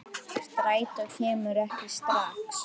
Strætó kemur ekki strax.